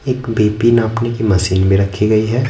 एक B_ P_ नापने की मशीन भी रखी गई है।